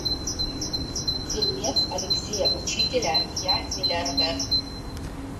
фильмец алексея учителя я миллиардер